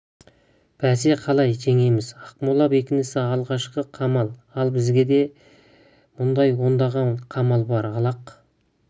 бәсе қалай жеңеміз ақмола бекінісі алғашқы қамал ал бізге деген мұндай ондаған қамал бар ал ақ